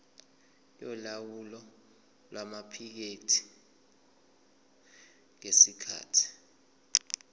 yolawulo lwamaphikethi ngesikhathi